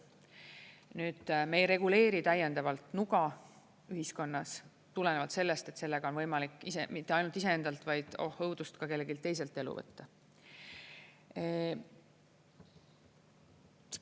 Nüüd, me ei reguleeri täiendavalt nuga ühiskonnas, tulenevalt sellest, et sellega on võimalik mitte ainult iseendalt, vaid, oh õudust, ka kelleltki teiselt elu võtta.